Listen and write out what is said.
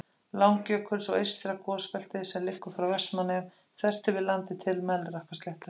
Langjökuls, og eystra gosbeltið, sem liggur frá Vestmannaeyjum þvert yfir landið til Melrakkasléttu.